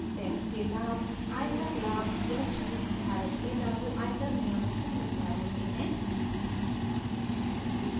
tax के लाभ: आयकर लाभ या छूट भारत में लागू आयकर नियमों के अनुसार होते हैं